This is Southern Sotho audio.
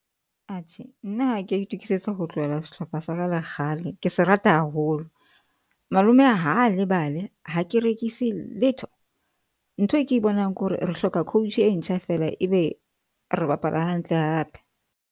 Atjhe nna ha ke a itukisetsa ho tlohela sehlopha sa ka le kgale. Ke se rata haholo. Malome a ha lebale. Ha ke rekise letho ntho e ke bonang ke hore re hloka coach e ntjha feela, ebe re bapala hantle hape.